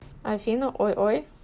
афина ой ой